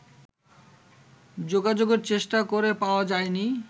যোগাযোগের চেষ্টা করে পাওয়া যায়নি